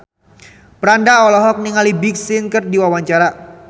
Franda olohok ningali Big Sean keur diwawancara